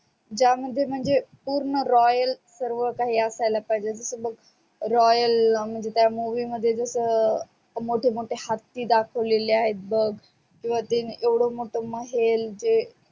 त्या मध्ये म्हणजे पूर्ण royal सर्व कही असायला पाहिजे जस बग royal म्हणजे त्या movie मध्ये जस मोठे मोठे हत्ती दाखवलेले आहेत किवा येवड मोठ महेल ते